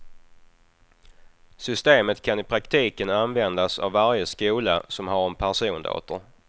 Systemet kan i praktiken användas av varje skola som har en persondator.